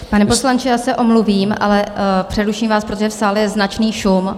Pane poslanče, já se omluvím, ale přeruším vás, protože v sále je značný šum.